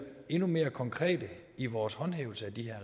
endnu mere konkrete i vores håndhævelse af de her